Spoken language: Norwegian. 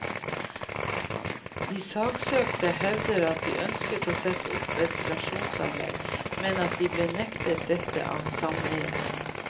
De saksøkte hevder at de ønsker å sette opp ventilasjonsanlegg, men at de blir nektet dette av sameiet.